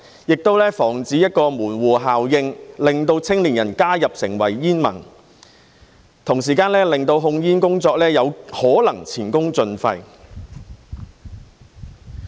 亦防止門戶效應令青年人加入成為煙民，同時令控煙工作有可能前功盡廢。